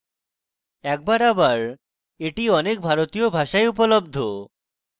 একবার আবার এটি অনেক ভারতীয় ভাষায় উপলব্ধ